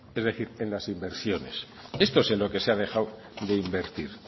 es decir en las inversiones esto es lo que se ha dejado de invertir